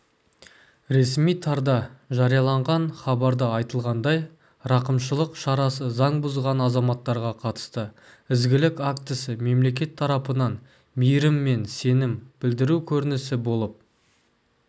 ресми тарда жарияланған хабарда айтылғандай рақымшылық шарасы заң бұзған азаматтарға қатысты ізгілік актісі мемлекет тарапынан мейірім мен сенім білдіру көрінісі болып